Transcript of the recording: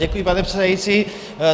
Děkuji, pane předsedající.